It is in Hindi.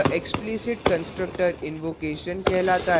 यह explicit constructor invocation कहलाता है